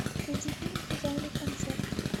найди фильм в жанре концерт